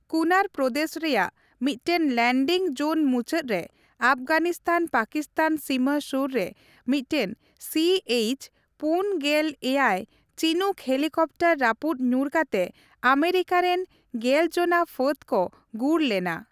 ᱠᱩᱱᱟᱨ ᱯᱨᱚᱫᱮᱥ ᱨᱮᱭᱟᱜ ᱢᱤᱫᱴᱮᱱ landing zone ᱢᱩᱪᱟᱹᱫ ᱨᱮ ᱟᱯᱷᱜᱟᱱᱤᱥᱛᱷᱟᱱᱼᱯᱟᱠᱤᱥᱛᱷᱟᱱ ᱥᱤᱢᱟᱹ ᱥᱩᱨ ᱨᱮ ᱢᱤᱫᱴᱮᱱ ᱥᱤ ᱤᱭᱪᱼ᱔᱗ ᱪᱤᱱᱩᱠ ᱦᱮᱞᱤᱠᱟᱯᱴᱟᱨ ᱨᱟᱹᱯᱩᱫ ᱧᱩᱨ ᱠᱟᱛᱮ ᱟᱢᱮᱨᱤᱠᱟ ᱨᱮᱱ ᱜᱮᱞᱡᱚᱱᱟ ᱯᱷᱟᱹᱫᱽ ᱠᱚ ᱜᱩᱨ ᱞᱮᱱᱟ ᱾